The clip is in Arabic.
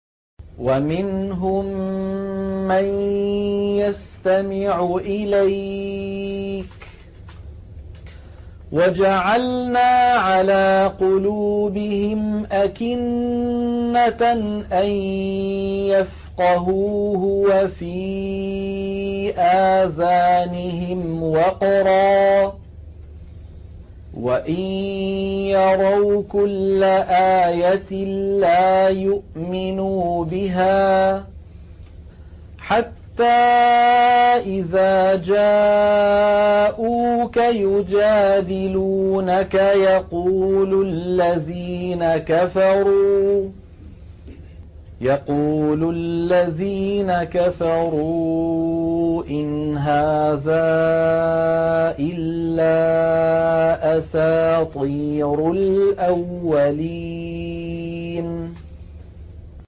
وَمِنْهُم مَّن يَسْتَمِعُ إِلَيْكَ ۖ وَجَعَلْنَا عَلَىٰ قُلُوبِهِمْ أَكِنَّةً أَن يَفْقَهُوهُ وَفِي آذَانِهِمْ وَقْرًا ۚ وَإِن يَرَوْا كُلَّ آيَةٍ لَّا يُؤْمِنُوا بِهَا ۚ حَتَّىٰ إِذَا جَاءُوكَ يُجَادِلُونَكَ يَقُولُ الَّذِينَ كَفَرُوا إِنْ هَٰذَا إِلَّا أَسَاطِيرُ الْأَوَّلِينَ